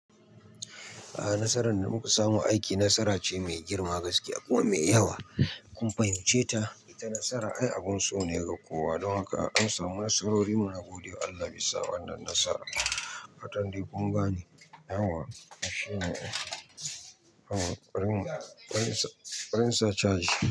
A'a nasaran da muka samu aiki nasara ce mai girma gaskiya kuma mai yawa. Kun fahimce ta ita nasara abun so ne ga kowa don haka an samu nasarori muna gode wa Allah bisa wannan nasara. Fatan dai gun gane yauwa shine ai, bari in sa chaji.